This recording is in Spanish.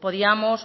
podíamos